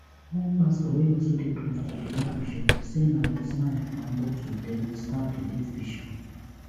one pastor wey also dey close to di late bishop say na wit knife and bottle dem bin stab di late bishop